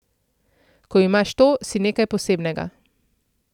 Ko imaš to, si nekaj posebnega.